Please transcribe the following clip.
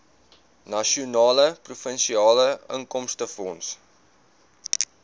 nasionale provinsiale inkomstefonds